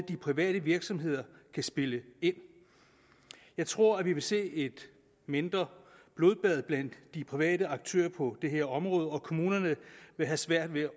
de private virksomheder kan spille ind jeg tror at vi vil se et mindre blodbad blandt de private aktører på det her område og kommunerne vil have svært ved